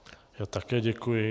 Já také děkuji.